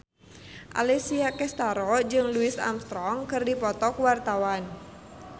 Alessia Cestaro jeung Louis Armstrong keur dipoto ku wartawan